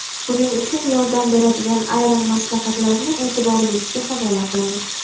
Buning uchun yordam beradigan ayrim maslahatlarni e’tiboringizga havola qilamiz.